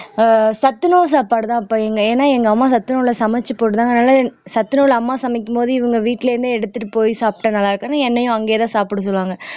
ஆஹ் சத்துணவு சாப்பாடுதான் அப்ப இங்க ஏன்னா எங்க அம்மா சத்துணவுல சமெச்சு போட்டிருந்தாங்க அதனால சத்துணவுள்ள அம்மா சமைக்கும்போது இவங்க வீட்டுல இருந்தே எடுத்துட்டு போய் சாப்பிட்டா நல்லா இருக்காதுன்னு என்னையும் அங்கயேதான் சாப்பிட சொல்லுவாங்க